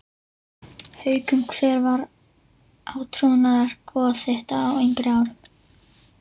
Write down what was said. Haukum Hver var átrúnaðargoð þitt á yngri árum?